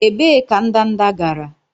Ebee ka ndanda gara?